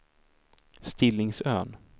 Stillingsön